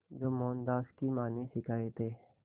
जो मोहनदास की मां ने सिखाए थे